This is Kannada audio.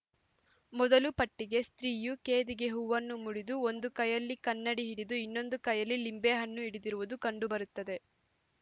ಮೊದಲ ಪಟ್ಟಿಕೆ ಸ್ತ್ರೀಯು ಕೇದಿಗೆ ಹೂವನ್ನು ಮುಡಿದು ಒಂದು ಕೈಯಲ್ಲಿ ಕನ್ನಡಿ ಹಿಡಿದು ಇನ್ನೊಂದು ಕೈಯಲ್ಲಿ ಲಿಂಬೆಹಣ್ಣು ಹಿಡಿದಿರುವುದು ಕಂಡುಬರುತ್ತದೆ